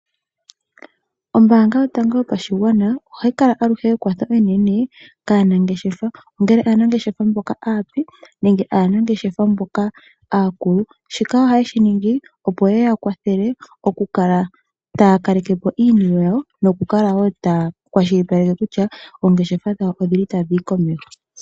Ombaanga yotango yopashigwana ohayi kala aluhe ekwatho enene kaanangeshefa ongele aanangeshefa mboka aape nenge aanageshefa mboka akulu ,shika ohaye shi ningi opo yeya kwathele okukala taya kalekepo iinima yayo nokukala woo takwashilipaleke kutya oongeshefa dhawo odhili taa dhiyi komeho.